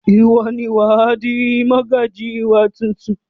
Ìwọ ni wà á di mọ́gàjí wa tuntun!